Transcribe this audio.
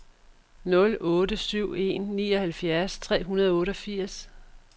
nul otte syv en nioghalvfjerds tre hundrede og otteogfirs